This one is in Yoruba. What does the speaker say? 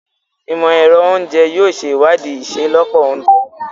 Imọ-ẹrọ Oúnjẹ yóò ṣe iwadii iṣelọpọ ounjẹ